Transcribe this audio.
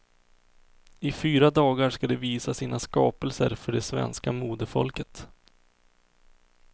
I fyra dagar ska de visa sina skapelser för det svenska modefolket.